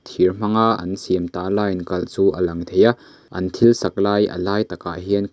thir hmang a an siam tala in kalh chu a lang thei a an thil sak lai a lai takah hian.